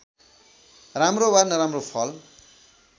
राम्रो वा नराम्रो फल